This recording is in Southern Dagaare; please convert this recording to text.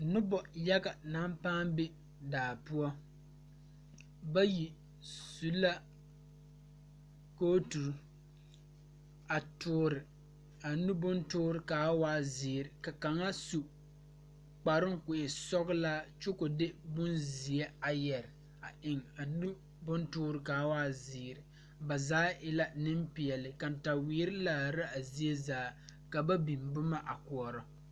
Nobo yaga naŋ paa be daa poɔ bayi su la kotuure a tuure a nu bontuure kaa waa ziiri ka kaŋa su kparo ko e sɔglaa kyɛ ko de bonziɛ a yeere a eŋ a nu bontuure kaa waa ziiri ba zaa e la Nenpeɛle kantawiire laare la a zie zaa ka ba biŋ boma a koɔre.